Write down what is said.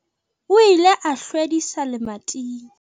O ile a hlwedisa lemating.